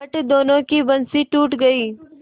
फट दोनों की बंसीे टूट गयीं